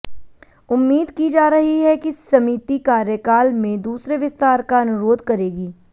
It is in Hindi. उम्मीद की जा रही है कि समिति कार्यकाल में दूसरे विस्तार का अनुरोध करेगी